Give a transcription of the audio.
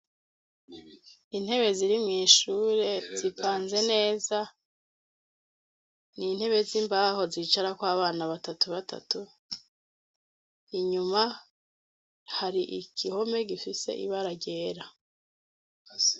Intebe zirimweishure zipanze neza ni intebe z'imbaho zicarako abana batatu batatu inyuma hari igihome gifise ibara ryera.